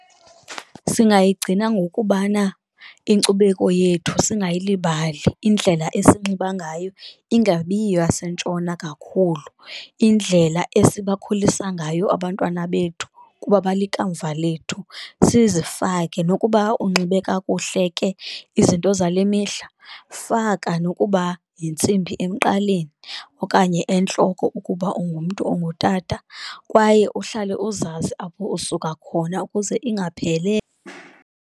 Singayigcina ngokubana inkcubeko yethu singaylibali, indlela esinxiba ngayo ingabiyiyo eyasentshona kakhulu, indlela esibakhulisa ngayo abantwana bethu kuba balikamva lethu. Sizifake nokuba unxibe kakuhle ke izinto zale mihla faka nokuba yintsimbi emqaleni, okanye entloko ukuba ungumntu ongutata, kwaye uhlale uzazi apho usuka khona ukuze ingaphelelwa.